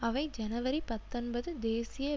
அவை ஜனவரி பத்தொன்பது தேசிய